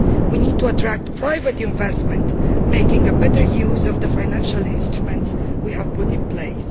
We need to attract private investment, making better use of the financial instruments we have put in place.